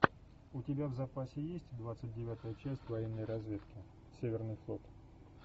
у тебя в запасе есть двадцать девятая часть военной разведки северный флот